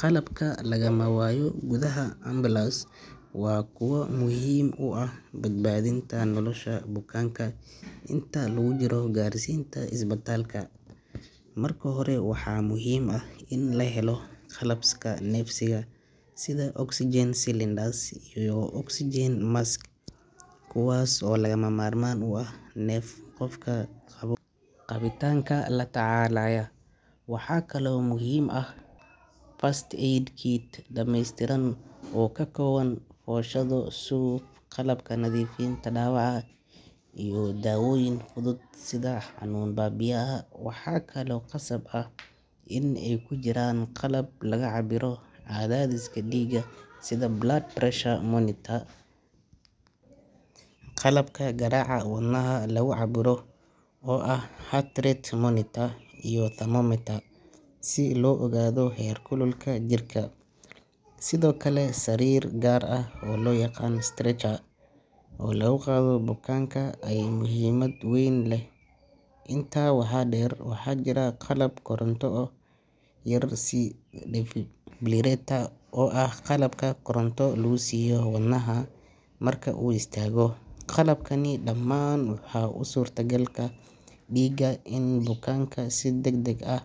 Qalabka lagamawaayo gudhaha ambalaasta waa kuwa muhiim uah badbaadhinta nolosha bukaanka inta lagujiro gaarsinta isbataalka. Marka hore waxaa muhiimah in lahelo qalabka neefsiga sidha oxygen cylinders iyo oxygen mask, kuwaas oo lagamamarmaan uax neef qofka qabo qabitaanka latacaalaya. Waxaa kale oo muhiim ah First aid kit dameystiran oo kakooban wa washadu suuq qalabka nadhifinta dawaca iyo daawoyin fudud sidha xanuun baabiyaha. Waxaa kale oo qasab ah in ey kujiraan qalab lagacabiro cadhadhiska diiga sidha blood pressure monitor, qalabka garaca wadnaha lagucabiro oo ah heart rate monitor iyo thermometer si loo ogaadho heer kuluka jirka. Sidho kale sariir gaar ah oo loyaqaan stretcher oo laguqadho bukaanka ay muhiimad weyn leh. Intaa waxaa deer waxaa jira qalab koronto oo yar si difibrilator oo ah qalabka koronto lagusiiyo wadnahauu istaago. Qalablkani damaan waxaa usutagalka diiga in bukaanka sidagdag ah